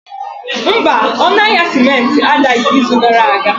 Mba, ọnụ ahịa simenti adaghị izu gara aga